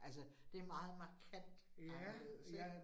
Altså det meget markant anderledes ik